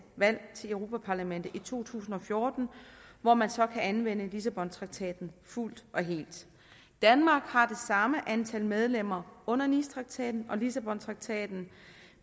valg til europa parlamentet i to tusind og fjorten hvor man så kan anvende lissabontraktaten fuldt og helt danmark har det samme antal medlemmer under nicetraktaten og lissabontraktaten